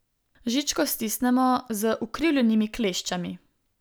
Žičko stisnemo z ukrivljenimi kleščami.